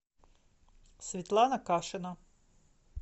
светлана кашина